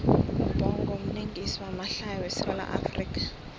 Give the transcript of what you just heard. ubhongo mlingisi wamahlaya we sawula afrika